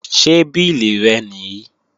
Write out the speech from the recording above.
Ṣé bílì rẹ nìí?